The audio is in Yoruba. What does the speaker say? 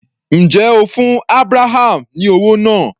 Ǹjẹ́ o fún Abraham ní owó náà?